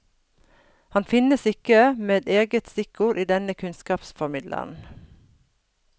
Han finnes ikke med eget stikkord i denne kunnskapsformidleren.